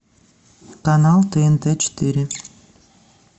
канал тнт четыре